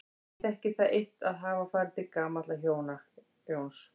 Ég þekkti það eitt að hafa farið til gamalla hjóna, Jóns